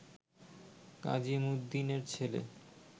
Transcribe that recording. কাজীমুদ্দীনের ছেলে